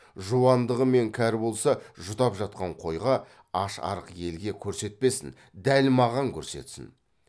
жуандығы мен кәрі болса жұтап жатқан қойға аш арық елге көрсетпесін дәл маған көрсетсін